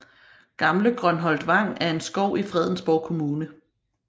Gamle Grønholt Vang er en skov i Fredensborg Kommune